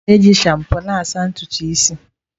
A na-eji shampoo na-asa ntutu isi.